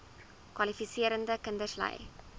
kwalifiserende kinders ly